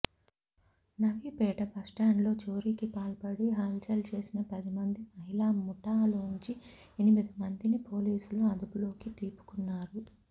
నవీపేట బస్టాండ్లో చోరీకి పాల్పడి హల్చల్ చేసిన పది మంది మహిళా ముఠాలోంచి ఎనిమిది మందిని పోలీసులు అదుపులోకి తీపుకున్నారు